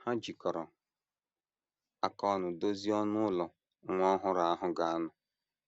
Ha jikọrọ aka ọnụ dozie ọnụ ụlọ nwa ọhụrụ ahụ ga - anọ.